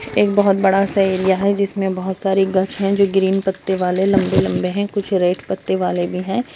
एक बहुत बड़ा-सा एरिया है जिसमे बहोत सारे गछ है जो ग्रीन पत्ते वाले लंबे-लंबे है कुछ रेड पत्ते वाले हैं ।